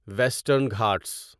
western Ghats